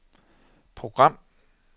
program